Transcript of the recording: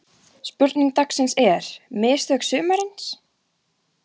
Spurning dagsins er: Mistök sumarsins?